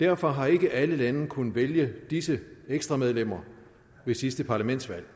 derfor har ikke alle lande kunnet vælge disse ekstra medlemmer ved sidste parlamentsvalg